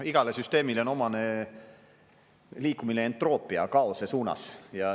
Igale süsteemile on omane liikumine ja entroopia kaose suunas.